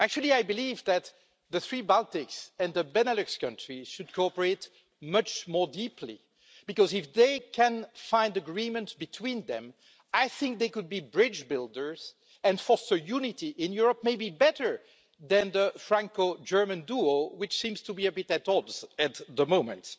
I believe that the three Baltics and the Benelux countries should cooperate much more deeply, because if they can find agreement between them, I think they could be bridge builders and foster unity in Europe maybe better than the Franco German duo, which seems to be a bit at odds at the moment.